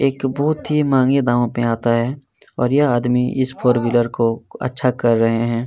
एक बहोत ही महंगे दामों पर आता है और यह आदमी इस फोर व्हीलर को अच्छा कर रहे हैं।